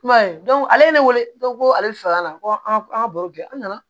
I m'a ye ale wele ko ale bi faga na ko an ka an ka baro kɛ an nana